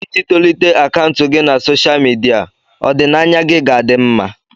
Iji tolite akaụntụ gị na sosha midia, ọdịnaya gị ga-adị mma.